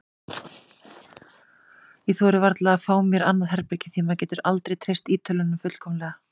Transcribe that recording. Ég þori varla að fá mér annað herbergi því maður getur aldrei treyst Ítölunum fullkomlega.